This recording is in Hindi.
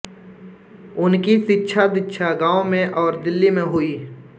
उनकी शिक्षादीक्षा गांव में और दिल्ली में हुई